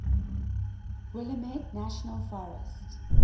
willamette national forest